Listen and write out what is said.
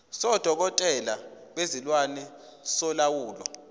sodokotela bezilwane solawulo